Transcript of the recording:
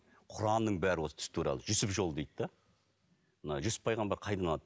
құранның бәрі осы түс туралы жүсіп жолы дейді де мына жүсіп пайғамбар қайдан алады